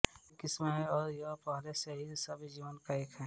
एक किस्म है और यह पहले से ही सभ्य जीवन का एक